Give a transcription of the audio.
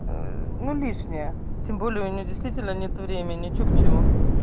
ну лишняя тем более у меня действительно нет времени че к чему